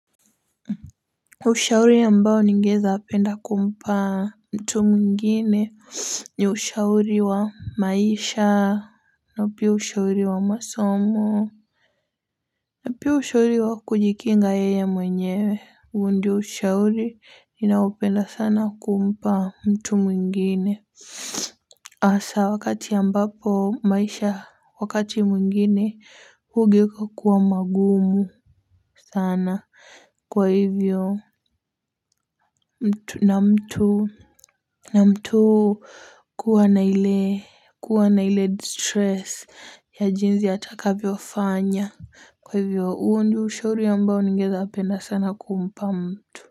Ushauri ambao ningeza penda kumpa mtu mwingine ni ushauri wa maisha na pia ushauri wa masomo. Na pia ushauri wa kujikinga yeye mwenyewe huu ndio ushauri ninaopenda sana kumpa mtu mwingine. Asa wakati ambapo maisha wakati mwingine hugeka kuwa mangumu sana kwa hivyo mtu na mtu kuwa na ile kuwa na ile distress ya jinzi atakavyo fanya kwa hivyo huu ndio ushauri ambao ningeweza penda sana kumpa mtu.